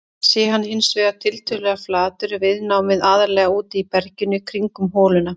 Sé hann hins vegar tiltölulega flatur er viðnámið aðallega úti í berginu kringum holuna.